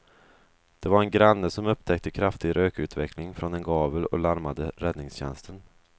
Det var en granne som upptäckte kraftig rökutveckling från en gavel och larmade räddningstjänsten.